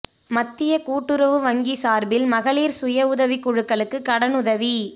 மத்திய கூட்டுறவு வங்கி சாா்பில் மகளிா் சுய உதவிக் குழுக்களுக்கு கடனுதவி